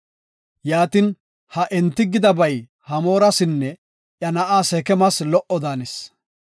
Yaatin ha enti gidabay Hamoorasinne iya na7a Seekemas lo77o daanis.